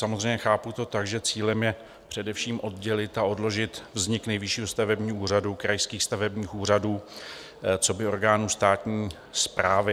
Samozřejmě chápu to tak, že cílem je především oddělit a odložit vznik Nejvyššího stavebního úřadu, krajských stavebních úřadů coby orgánů státní správy.